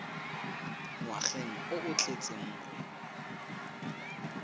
ngwageng o o tletseng o